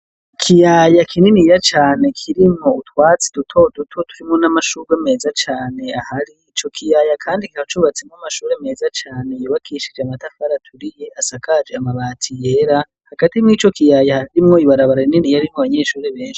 Ikiyaya kininiya cane kirimwo utwatsi dutoduto turimwo n'amashurwe meza cane, ahari ico kiyaya kandi kikaba cubatsemwo amashure meza cane yubakishijwe amatafari aturiye, asakaje amabati yera, hagati mwico kiyaya harimwo ibarabara rininiya ririmwo abanyeshure benshi.